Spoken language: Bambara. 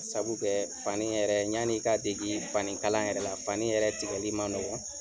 Sabu kɛ fani yɛrɛ, ɲan'i ka dege fani kalan yɛrɛ la, fani yɛrɛ tikɛli ma nɔgɔ.